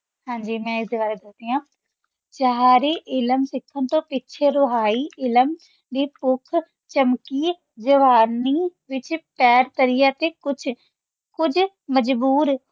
ਹਾਂਜੀ ਮੈਂ ਏਸ ਦੇ ਬਾਰੇ ਦਸਦੀ ਆਂ ਚਾਹਾਰੀ ਇਲਮ ਸਿਖਾਂ ਤੋਂ ਪਿਛੇ ਰੁਹੈ ਇਲਮ ਲੈ ਪੁਖ਼ ਚਮਕੀ ਜਵਾਨੀ ਪੈਰ ਧਰਯ ਤੇ ਕੁਛ ਕੁਜ ਮਜੂਰ